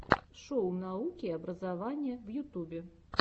шоу науки и образования в ютьюбе